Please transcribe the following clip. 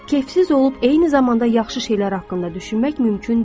Kefsiz olub eyni zamanda yaxşı şeylər haqqında düşünmək mümkün deyil.